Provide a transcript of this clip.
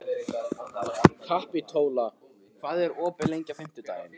Kapitola, hvað er opið lengi á fimmtudaginn?